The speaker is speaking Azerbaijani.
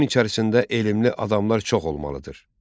Onun içərisində elmli adamlar çox olmalıdır.